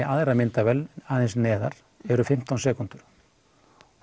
aðra myndavél aðeins neðar eru fimmtán sekúndur